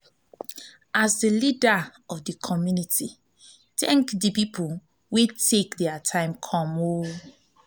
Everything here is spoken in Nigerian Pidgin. as di leader of di community thank di pipo wey take their time come